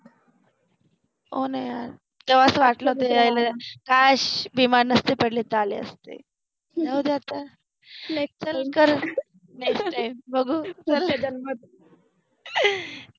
हो न यार, तेव्हाच वाटल कि काश बिमार नसते पडले तर आले असते जाउदे आता नेक्स्ट टाइम जर नेक्स्ट टाइम बघु